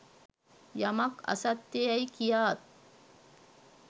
යමක් අසත්‍ය යැයි කියාත්